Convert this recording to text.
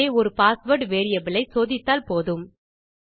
ஆகவே ஒரு password variable ஐ சோதித்தால் போதும்